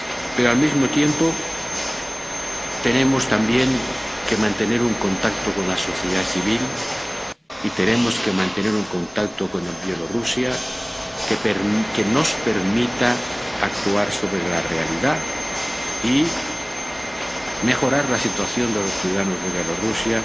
Pero, al mismo tiempo, tenemos también que mantener un contacto con la sociedad civil y tenemos que mantener un contacto con Bielorrusia que nos permita actuar sobre la realidad y mejorar la situación de los ciudadanos de Bielorrusia